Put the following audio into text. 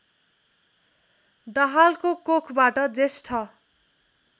दाहालको कोखबाट जेष्ठ